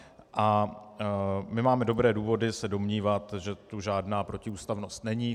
A my máme dobré důvody se domnívat, že tu žádná protiústavnost není.